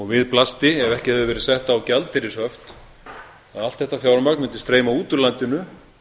við blasti ef ekki hefðu verið sett á gjaldeyrishöft að allt þetta fjármagn mundi streyma út úr landinu